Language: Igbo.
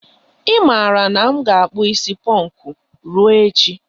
I mara na m na akpu isi ponku ruo echi.